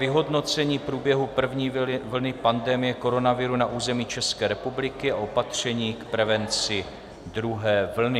Vyhodnocení průběhu první vlny pandemie koronaviru na území České republiky a opatření k prevenci druhé vlny